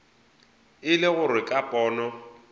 e le gore ka pono